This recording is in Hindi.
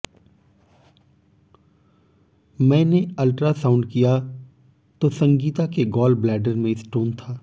मैने अल्ट्रासाउंड किया तो संगीता के गॉल ब्लैडर में स्टोन था